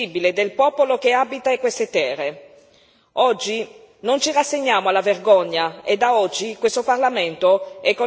Oggi non ci rassegniamo alla vergogna e da oggi questo Parlamento è con il popolo Beni, Lubero e Butembo.